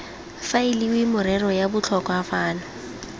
faeliwe merero ya botlhokwa fano